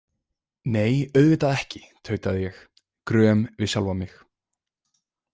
Nei, auðvitað ekki, tautaði ég gröm við sjálfa mig.